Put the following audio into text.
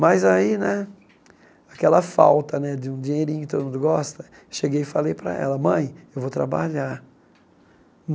Mas aí né, aquela falta né de um dinheirinho que todo mundo gosta, cheguei e falei para ela, mãe, eu vou trabalhar.